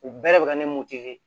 U bɛɛ de bɛ ka ne ni mun tɛ